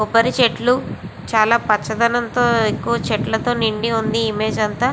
కొబ్బరి చెట్లు చాలా పచ్చ ధనంతో ఎక్కువ చెట్లతో నిండి వుంది ఇమేజ్ అంత.